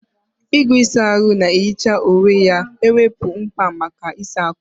Igwe ịsa ahụ na-ehicha onwe ya ga-ewepụ mkpa maka ịsa ákwà.